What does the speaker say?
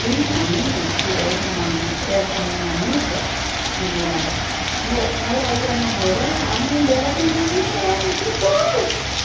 Tinha umas que uma ami, essa minha amiga que morava, meu, ela ia namorar, a mãe dela sentava no meio dos dois.